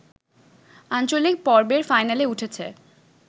আঞ্চলিক পর্বের ফাইনালে উঠেছে